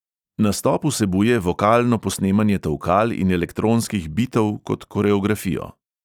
Nastop vsebuje vokalno posnemanje tolkal in elektronskih bitov kot koreografijo.